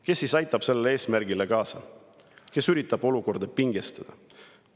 Kes siis aitab sellele eesmärgile kaasa, kes üritab olukorda pingestada?